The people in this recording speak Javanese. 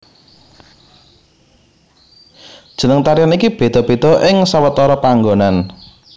Jeneng tarian iki béda béda ing sawetara panggonan